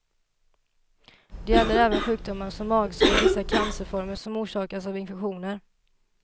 Det gäller även sjukdomar som magsår och vissa cancerformer som orsakas av infektioner.